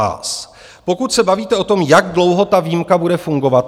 Pokud se bavíte o tom, jak dlouho ta výjimka bude fungovat.